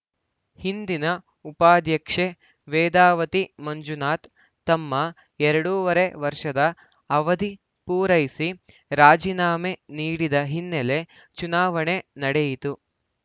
ಹಿಂದಿನ ಉಪಾಧ್ಯಕ್ಷೆ ವೇದಾವತಿ ಮಂಜುನಾಥ್‌ ತಮ್ಮ ಎರಡೂವರೆ ವರ್ಷದ ಅವಧಿ ಪೂರೈಸಿ ರಾಜಿನಾಮೆ ನೀಡಿದ್ದ ಹಿನ್ನೆಲೆ ಚುನಾವಣೆ ನಡೆಯಿತು